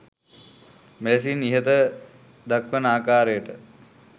මෙලෙසින් ඉහත දක්වන ආකාරයට